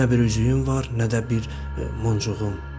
Nə bir üzüyüm var, nə də bir muncuğum.